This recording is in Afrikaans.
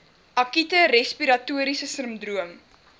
akute respiratoriese sindroom